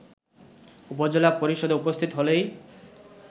উপজেলা পরিষদে উপস্থিত হলেই